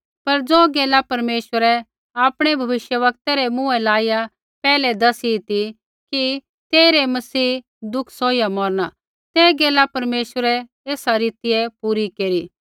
पर ज़ो गैला परमेश्वरै आपणै भविष्यवक्तै रै मुँहै लाइया पैहलै दसी ती कि तेइरै मसीह दुख सौहिया मौरना ते गैला परमेश्वरै एसा रीतिऐ पूरी केरी